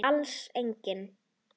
Alls engin.